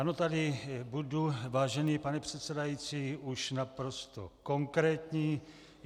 Ano, tady budu, vážený pane předsedající, už naprosto konkrétní.